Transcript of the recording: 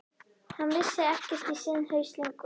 Hann vissi ekkert í sinn haus lengur.